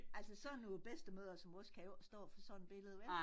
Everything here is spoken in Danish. Altså sådan nogle bedstemødre som os kan jo ikke stå for sådan billede vel